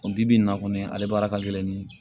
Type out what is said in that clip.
O bi bi in na kɔni ale baara ka gɛlɛn ni